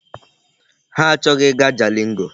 Ha achọghị ịga Jalingo.